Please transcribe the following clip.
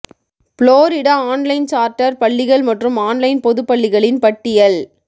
Florida online charter பள்ளிகள் மற்றும் online பொது பள்ளிகளின் பட்டியல்